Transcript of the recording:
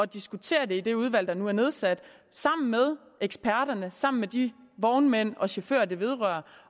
diskutere det i det udvalg der nu er nedsat sammen med eksperterne sammen med de vognmænd og chauffører det vedrører